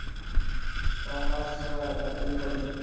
ଛ ମାସ ଚାକିରି କରିଛି